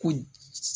Ko in